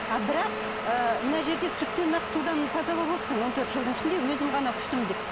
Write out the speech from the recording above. а бірақ ы мына жерде сүттен ақ судан таза болып отырсың он төрт жылдың ішінде өзім ғана күштімін деп